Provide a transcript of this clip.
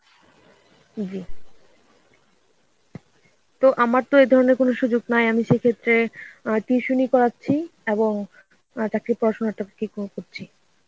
জি তো আমার তো এই ধরণের কোনো সুযোগ নাই আমি সেক্ষেত্রে অ্যাঁ tuition করাচ্ছি এবং অ্যাঁ চাকরির পড়াশোনাটাকে কি করে করছি.